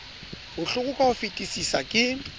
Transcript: bohloko ka ho fetisisa ke